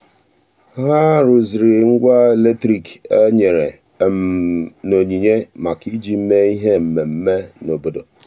ha rụziri ngwa eletrik e nyere n'onyinye maka iji mee ihe mmemme n' obodo.